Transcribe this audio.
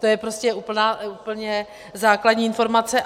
To je prostě úplně základní informace.